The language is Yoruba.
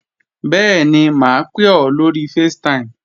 Bẹ́ẹ̀ni, mà á pè ọ́ lóri facetime